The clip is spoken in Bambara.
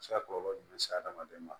A bɛ se ka kɔlɔlɔ jumɛn se hadamaden ma